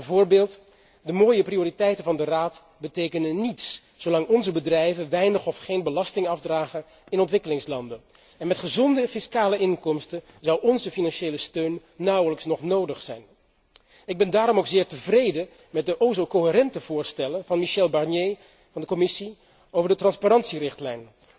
Bijvoorbeeld, de mooie prioriteiten van de Raad betekenen niets zolang onze bedrijven weinig of geen belasting afdragen in ontwikkelingslanden. Met gezonde fiscale inkomsten zou onze financiële steun nauwelijks nog nodig zijn. Ik ben daarom ook zeer tevreden met de o zo coherente voorstellen van Michel Barnier van de Commissie over de transparantierichtlijn.